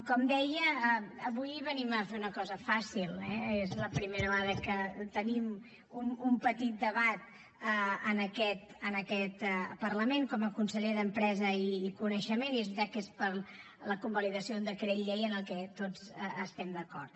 com deia avui venim a fer una cosa fàcil eh és la primera vegada que tenim un petit debat en aquest parlament com a conseller d’empresa i coneixement i és veritat que és per a la convalidació d’un decret llei amb el que tots estem d’acord